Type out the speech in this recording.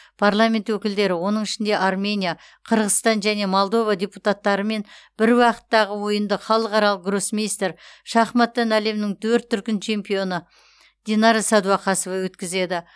парламент өкілдері оның ішінде армения қырғызстан және молдова депутаттарымен бір уақыттағы ойынды халықаралық гроссмейстер шахматтан әлемнің төрт дүркін чемпионы динара сәдуақасова өткізеді